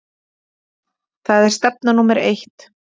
Það er stefna númer eitt.